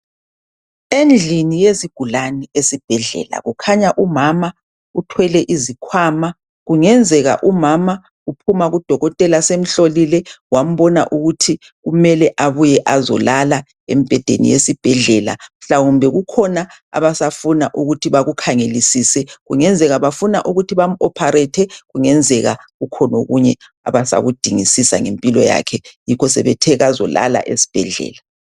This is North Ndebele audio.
Endlini yezigulanil esibhedlela kukhanya umama uthwele izikhwama .Kungenzeka umama uphuma kudokotela semhlolile wambona ukuthi kumele abuye azolala embhedeni yesibhedlela .Mhlawumbe kukhona abasafuna ukuthi bakukhangelisise .Kungenzeka bafuna ukuthi bamu opharethe .Kungenzeka kukhona okunye abasakudingisisa ngempilo yakhe .Yikho sebethe kazolala esibhedlela